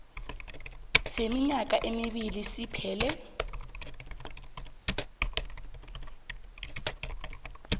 seminyaka emibili siphele